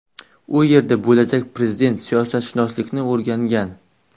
U yerda bo‘lajak prezident siyosatshunoslikni o‘rgangan.